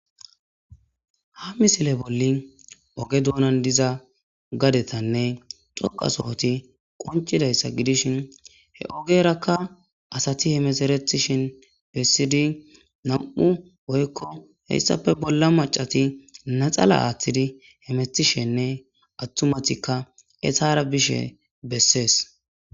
Ha misile bolli oge doonan diza gadetanne xoqasohoti qoncidayssa gidishin he ogerakka asati hemeseretishin bessidi nam7u woykko hessafe bolla macati naxala aaththidi hemethishenne attumatikka eshara bishe bessees